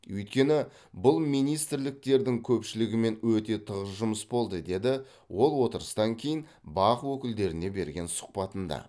өйткені бұл министрліктердің көпшілігімен өте тығыз жұмыс болды деді ол отырыстан кейін бақ өкілдеріне берген сұхбатында